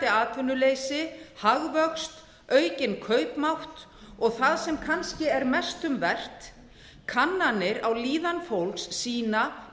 atvinnuleysi hagvöxt aukinn kaupmátt og það sem kannski er mest um vert kannanir á líðan fólks sýna